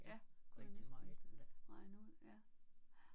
Ja det kunne jeg næsten regne ud ja